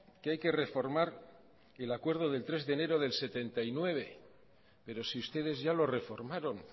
que hay que reformar el acuerdo del tres de enero del setenta y nueve pero si ustedes ya lo reformaron